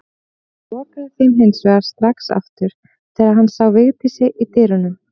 Hann lokaði þeim hins vegar strax aftur þegar hann sá Vigdísi í dyrunum.